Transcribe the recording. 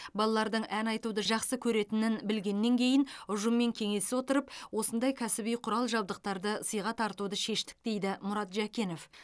балалардың ән айтуды жақсы көретінін білгеннен кейін ұжыммен кеңесе отырып осындай кәсіби құрал жабдықтарды сыйға тартуды шештік дейді мұрат жәкенов